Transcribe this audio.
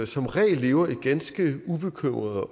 som regel lever et ganske ubekymret